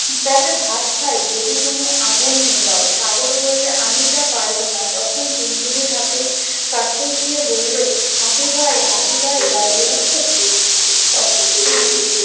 তবে ভাত খাই যদি তুমি আগুন নেভাও। সাগর বললে- আমি তা পারব না। তখন টুনটুনি হাতির কাছে গিয়ে বললে- হাতি ভাই হাতি ভাই বাড়ি আছ? তখন